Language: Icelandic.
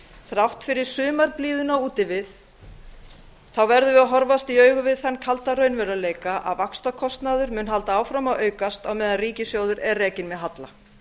þrátt fyrir sumarblíðuna úti við verðum við að horfast í augu við þann kalda raunveruleika að vaxtakostnaður mun halda áfram að aukast á meðan ríkissjóður er rekinn með halla